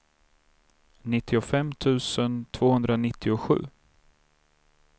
nittiofem tusen tvåhundranittiosju